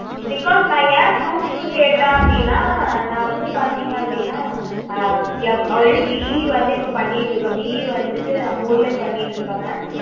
because நா ஏன் proof க்கு கேட்டேன் அப்புடின்னா நா வந்து பாத்தீங்க அப்புடின்னா alreadyBE வந்து பண்ணிட்டு இருக்கேன். BE வந்துட்டு நம்ப ஊர்லயே பண்ணிட்டு இருக்கேன் mam